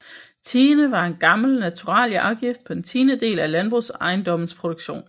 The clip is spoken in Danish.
Tiende var en gammel naturalieafgift på en tiendedel af landbrugsejendommenes produktion